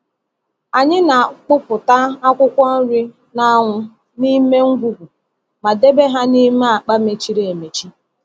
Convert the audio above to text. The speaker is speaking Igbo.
Anyị na-akpụpụta akwụkwọ nri n’anwụ n’ime ngwugwu ma debe ha n’ime akpa mechiri emechi.